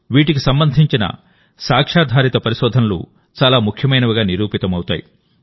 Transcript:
వీటికి సంబంధించిన సాక్ష్యాధారిత పరిశోధనలు చాలా ముఖ్యమైనవిగా నిరూపితమవుతాయి